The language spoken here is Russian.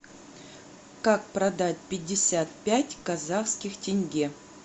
как продать пятьдесят пять казахских тенге